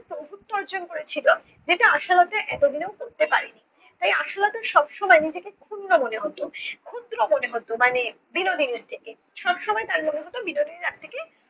প্রভুত্ব অর্জন করেছিল। যেটা আশালতা এতদিনেও করতে পারে নি। তাই আশালতার সবসময়য় নিজেকে ক্ষুণ্ন মনে হতো। ক্ষুদ্র মনে হতো মানে বিনোদিনীর থেকে, সবসময় তার মনে হতো বিনোদিনী তার থেকে